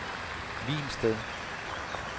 Hvilsted